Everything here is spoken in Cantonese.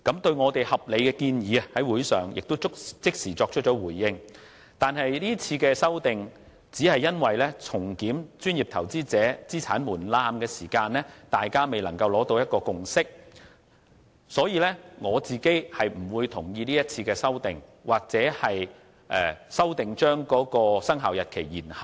是次擬議決議案提出的修訂，只因就重檢專業投資者資產門檻方面，大家未能達到共識，所以，我個人並不同意其修訂或延後修訂的生效日期。